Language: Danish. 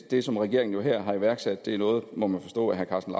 det som regeringen her har iværksat er noget må man forstå herre karsten